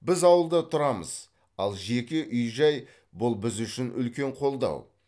біз ауылда тұрамыз ал жеке үй жай бұл біз үшін үлкен қолдау